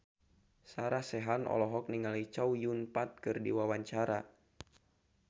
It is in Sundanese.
Sarah Sechan olohok ningali Chow Yun Fat keur diwawancara